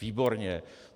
Výborně!